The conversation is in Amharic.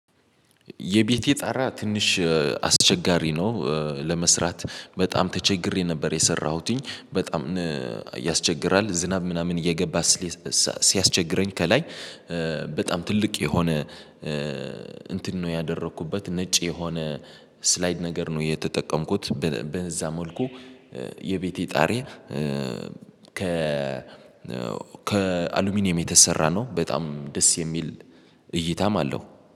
የቤቴ ጣራ ትንሽ አስቸጋሪ ነው። ለመስራት በጣም ተቸግሬ ነበር የሰራሁትኝ። በጣም ያስቸግራል ዝናብ ምናምን እየገባ ስለ ስ ሲያስቸግረኝ፤ ከላይ በጣም ትልቅ የሆነ እንትን ነው ያደረኩበት፤ ነጭ የሆነ ስላይድ ነገር ነው የተጠቀምኩት። በ በዛ መልኩ የቤቴ ጣሪያ ከ ከአሉሚኒየም የተሰራ ነው። በጣም ደስ የሚል እይታም አለው።